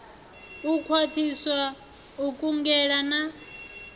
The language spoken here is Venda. u khwathisa u kungela na